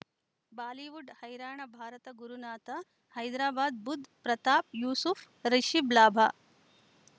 Bollywood ಹೈರಾಣ ಭಾರತ ಗುರುನಾಥ ಹೈದರಾಬಾದ್ ಬುಧ್ ಪ್ರತಾಪ್ ಯೂಸುಫ್ ರಿಷಿಬ್ ಲಾಭ